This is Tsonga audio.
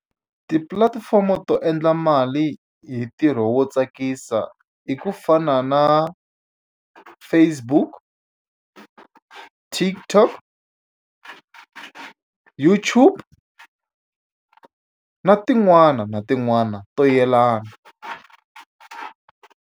Tipulatifomo to endla mali hi ntirho wo tsakisa i ku fana na Facebook TikTok YouTube na tin'wana na tin'wana to yelana.